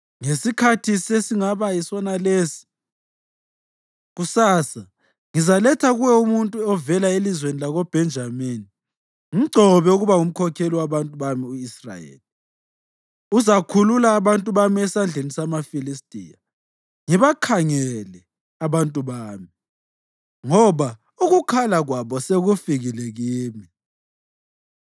“Ngesikhathi esingaba yisonalesi kusasa ngizaletha kuwe umuntu ovela elizweni lakoBhenjamini. Mgcobe ukuba ngumkhokheli wabantu bami u-Israyeli; uzakhulula abantu bami esandleni samaFilistiya. Ngibakhangele abantu bami, ngoba ukukhala kwabo sekufikile kimi.”